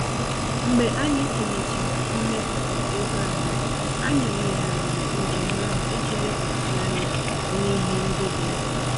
Mgbe anyị tụlechara mmefu égo anyị, anyị yigharịrị njem ahụ iji lekwasị anya n'ihe ndị dị mkpa